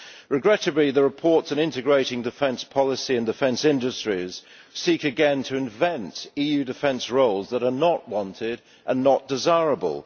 Regrettably, the reports on integrating defence policy and defence industries seek again to invent EU defence roles that are not wanted and not desirable.